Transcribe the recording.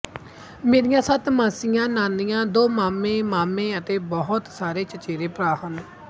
ਮੇਰੀਆਂ ਸੱਤ ਮਾਸੀਆਂ ਨਾਨੀਆਂ ਦੋ ਮਾਮੇ ਮਾਮੇ ਅਤੇ ਬਹੁਤ ਸਾਰੇ ਚਚੇਰੇ ਭਰਾ ਹਨ